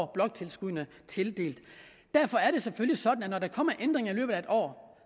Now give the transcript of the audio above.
bloktilskuddene tildelt derfor er det selvfølgelig sådan at når der kommer ændringer i løbet af et år